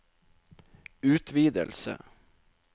utvidelse